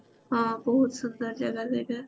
ହଁ ବହୁତ ସୁନ୍ଦର ଜାଗା ସେଇଟା